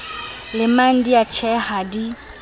lemang di a tjheha di